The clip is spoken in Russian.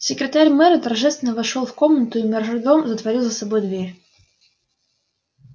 секретарь мэра торжественно вошёл в комнату и мажордом затворил за собой дверь